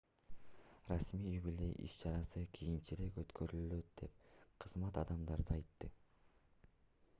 расмий юбилей иш-чарасы кийинчерээк өткөрүлөт деп кызмат адамдары айтты